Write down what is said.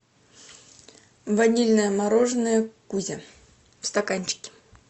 ванильное мороженое кузя в стаканчике